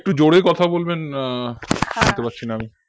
একটু জোরে কথা বলবেন আহ শুনতে পারছি না আমি